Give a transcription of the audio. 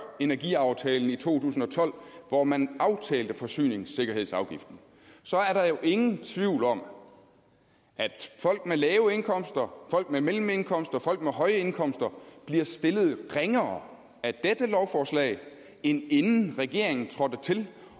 energiaftalen i to tusind og tolv hvor man aftalte forsyningssikkerhedsafgiften så er der jo ingen tvivl om at folk med lave indkomster folk med mellemindkomster folk med høje indkomster bliver stillet ringere af dette lovforslag end inden regeringen trådte til